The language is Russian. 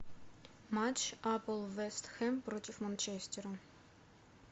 матч апл вест хэм против манчестера